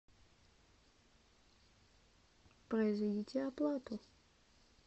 произведите оплату